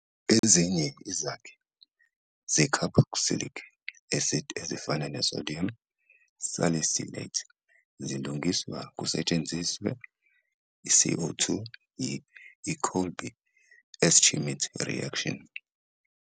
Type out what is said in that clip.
Ezinye izakhi ze-carboxylic acid ezifana ne- sodium salicylate zilungiswa kusetshenziswa i-CO 2 yi- Kolbe-Schmitt reaction.